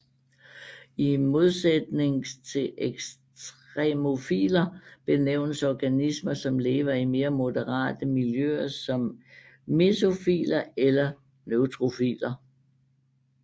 I modsætning til ekstremofiler benævnes organismer som lever i mere moderate miljøer som mesofiler eller neutrofiler